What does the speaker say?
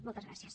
moltes gràcies